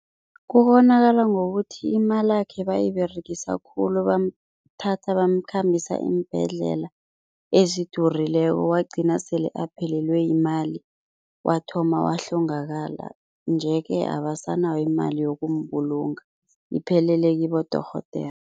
Kubonakala ngokuthi imalakhe bayiberegisa khulu bamthathe bamkhambisa iimbhedlela ezidurileko, wagcina sele aphelelwe yimali, wathoma wahlongakala nje-ke, abasanayo imali yokumbulunga, iphelele kibodorhodere.